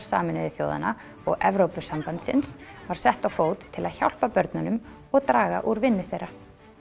Sameinuðu þjóðanna og Evrópusambandsins var sett á fót til að hjálpa börnunum og draga úr vinnu þeirra